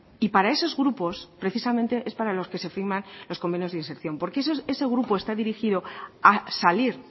y para esos grupos precisamente es para los que se firman los convenios de inserción porque ese grupo está dirigido a salir